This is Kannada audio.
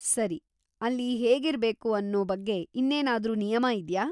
ಸರಿ, ಅಲ್ಲಿ ಹೇಗಿರ್ಬೇಕು ಅನ್ನೋ ಬಗ್ಗೆ ಇನ್ನೇನಾದ್ರೂ ನಿಯಮ ಇದ್ಯಾ?